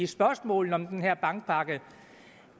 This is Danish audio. spørgsmål om den her bankpakke